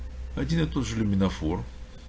один и тот же люминофор